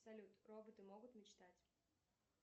салют роботы могут мечтать